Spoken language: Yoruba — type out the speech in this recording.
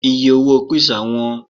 iye owó pizza wón